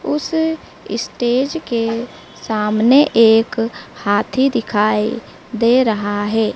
उस इस्टेज के सामने एक हाथी दिखाई दे रहा है।